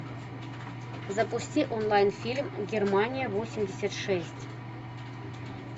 запусти онлайн фильм германия восемьдесят шесть